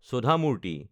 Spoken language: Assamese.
সোধা মূৰ্তি